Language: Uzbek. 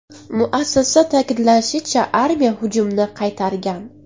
Muassasa ta’kidlashicha, armiya hujumni qaytargan.